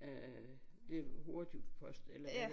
Øh øh det er hurtigpost eller ja